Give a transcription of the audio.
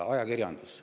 Ajakirjandus.